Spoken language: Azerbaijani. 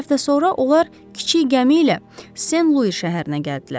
İki həftə sonra onlar kiçik gəmi ilə Sen Lui şəhərinə gəldilər.